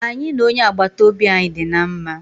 Anyị na onye agbata obi anyị dị na mma.